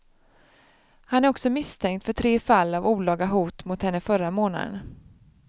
Han är också misstänkt för tre fall av olaga hot mot henne under förra månaden.